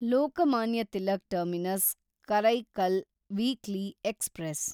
Lokmanya Tilak terminus Karaikal weekly express